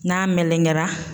N'a melenkera.